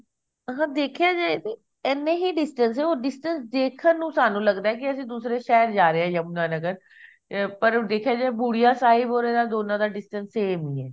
ਅਗਰ ਦੇਖਿਆ ਜਾਏ ਤਾਂ ਇੰਨਾ ਹੀ distance ਹੈ ਉਹ distance ਦੇਖਣ ਨੂੰ ਸਾਨੂੰ ਲੱਗਦਾ ਕਿ ਅਸੀਂ ਦੂਸਰੇ ਸ਼ਹਿਰ ਜਾ ਰਹੇ ਹਾਂ ਯਮੁਨਾ ਨਗਰ ਅਹ ਪਰ ਦੇਖਿਆ ਜਾਏ ਬੁੜਿਆ ਸਾਹਿਬ or ਇਹਨਾਂ ਦੋਨਾਂ ਦਾ distance same ਈ ਐ